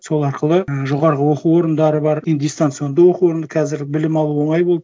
сол арқылы і жоғарғы оқу орындары бар и дистанционды оқу орны қазір білім алу оңай болды